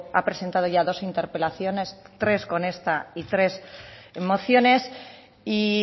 ha presentado ya dos interpelaciones tres con esta y tres mociones y